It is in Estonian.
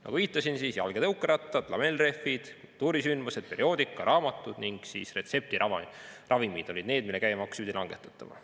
Nagu viitasin, jalg‑ ja tõukerattad, lamellrehvid, kultuurisündmused, perioodika ja raamatud ning retseptiravimid olid need, mille käibemaksu pidi langetatama.